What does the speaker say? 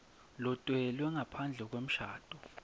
lotelwe ngaphandle kwemshado